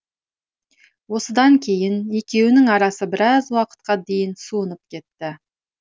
осыдан кейін екеуінің арасы біраз уақытқа дейін суынып кетті